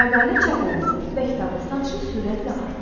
Məqalə çap olundu və kitabın satışı sürətlə artdı.